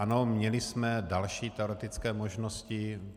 Ano, měli jsme další teoretické možnosti.